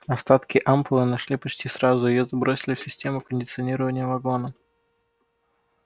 остатки ампулы нашли почти сразу её забросили в систему кондиционирования вагона